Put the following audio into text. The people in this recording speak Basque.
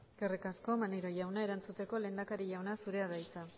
eskerrik asko maneiro jauna erantzuteko lehendakari jauna zurea da hitza